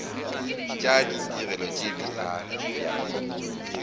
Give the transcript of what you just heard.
tša ditirelo tše di abjago